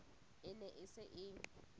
e ne e se e